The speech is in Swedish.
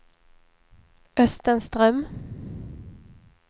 Östen Ström